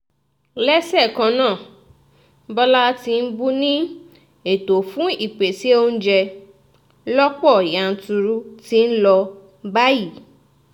lẹ́sẹ̀ kannáà bọ́lá tìǹbù ni ètò fún ìpèsè oúnjẹ lọ̀pọ̀ yanturu ti ń lọ báyìí